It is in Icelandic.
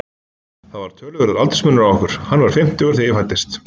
Það var töluverður aldursmunur á okkur, hann var fimmtugur þegar ég fæddist.